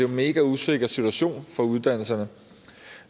mega usikker situation for uddannelserne